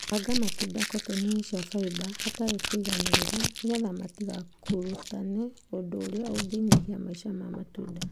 Banga matunda kotoni-inĩ cia fiber hatarĩ kũiganĩrĩra nĩgetha matigakũrũtane ũndũ ũrĩa unginyihia maica ma matunda